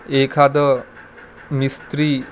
एखादं मिस्त्री --